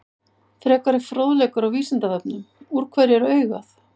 Frekari fróðleikur á Vísindavefnum: Úr hverju er augað?